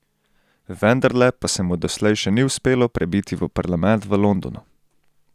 Vendarle pa se mu doslej še ni uspelo prebiti v parlament v Londonu.